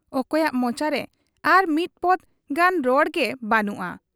ᱚᱠᱚᱭᱟᱜ ᱢᱚᱪᱟᱨᱮ ᱟᱨ ᱢᱤᱫ ᱯᱚᱫᱽ ᱜᱟᱱ ᱨᱚᱲᱜᱮ ᱵᱮᱹᱱᱩᱜ ᱟ ᱾